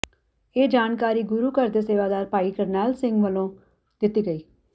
ਇਹ ਜਾਣਕਾਰੀ ਗੁਰੂ ਘਰ ਦੇ ਸੇਵਾਦਾਰ ਭਾਈ ਕਰਨੈਲ ਸਿੰਘ ਵਲੋਂ ਦਿੱਤੀ ਗਈ